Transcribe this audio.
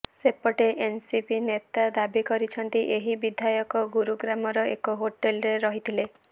ସେପଟେ ଏନ୍ସିପି ନେତା ଦାବି କରିଛନ୍ତି ଏହି ବିଧାୟକ ଗୁରୁଗ୍ରାମର ଏକ ହୋଟେଲ୍ରେ ରହିଥିଲେ